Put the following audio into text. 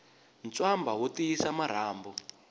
ntswamba wu tiyisa marhambu